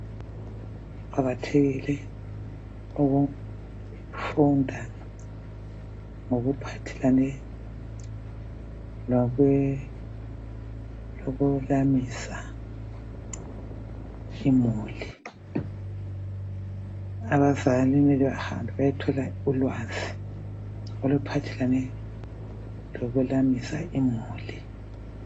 Kuqakathekile ukufunda ngokuphathelane lokwelamisa imuli .Abazali kumele bahambe bayethola ulwazi oluphathelane lokwelamisa imuli .